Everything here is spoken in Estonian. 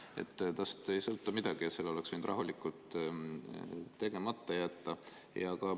Sellest ei sõltu midagi ja selle oleks võinud rahulikult tegemata jätta.